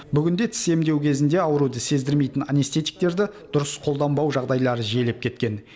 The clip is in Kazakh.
бүгінде тіс емдеу кезінде ауруды сездірмейтін анестетиктерді дұрыс қолданбау жағдайлары жиілеп кеткен